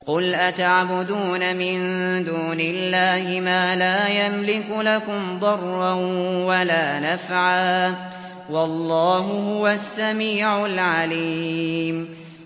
قُلْ أَتَعْبُدُونَ مِن دُونِ اللَّهِ مَا لَا يَمْلِكُ لَكُمْ ضَرًّا وَلَا نَفْعًا ۚ وَاللَّهُ هُوَ السَّمِيعُ الْعَلِيمُ